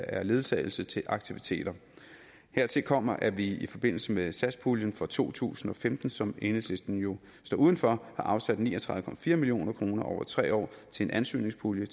er ledsagelse til aktiviteter hertil kommer at vi i forbindelse med satspuljen for to tusind og femten som enhedslisten jo står uden for har afsat ni og tredive million kroner over tre år til en ansøgningspulje